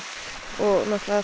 og